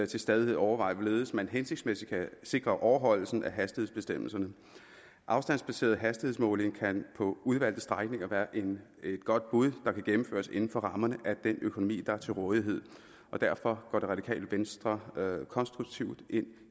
til stadighed overveje hvorledes man hensigtsmæssigt kan sikre overholdelse af hastighedsbestemmelserne afstandsbaseret hastighedsmåling kan på udvalgte strækninger være et godt bud der kan gennemføres inden for rammerne af den økonomi der er til rådighed derfor går det radikale venstre konstruktivt ind